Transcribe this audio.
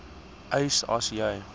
eis as jy